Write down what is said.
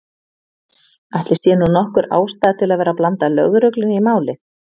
Ætli sé nú nokkur ástæða til að vera að blanda lögreglunni í málið.